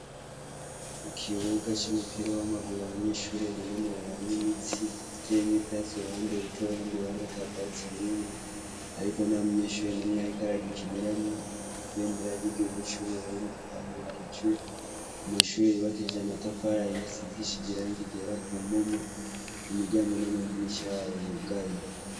Ikibuga cumupira wamaguru abanyeshure binonoreramwo imitsi ,bitemwo ivyatsi uruhande ritoyi urundi ruhande atavyatsi birimwo ariko ntamunyeshure numwe ariko aragikiniramwo ibendera ryigihugu cu Burundi ryadugijwe amashure yubakishijwe amatafari ahiye asigishije Irangi ryera kumpome imiryango namadirisha yayo yugaye.